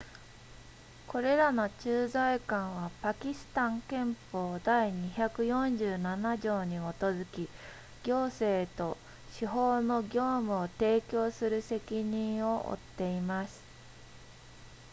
これらの駐在官はパキスタン憲法第247条に基づき行政と司法の業務を提供する責任を負っています